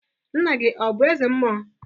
Nna gi ọ bụ eze mmụọ?